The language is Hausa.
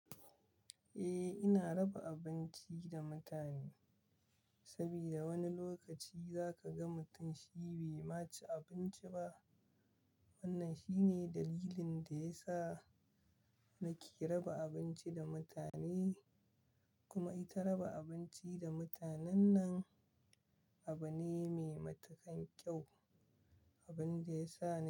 Eh, ina raba abinci da mutane saboda wani lokaci za ka ga mutum shi bai ma ci abinci ba. Wannan shine dalilin da ya sa nake raba abinci da mutane, kuma ita raba abinci da mutanen nan abu ne mai matuƙan kyau, abun da ya sa ni.